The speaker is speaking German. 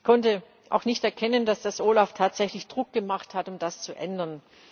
Ich konnte auch nicht erkennen, dass das OLAF tatsächlich Druck gemacht hat, um das zu ändern.